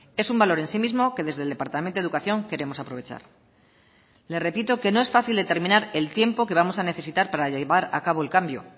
es un valor en sí mismo que desde el departamento de educación queremos aprovechar le repito que no es fácil determinar el tiempo que vamos a necesitar para llevar a cabo el cambio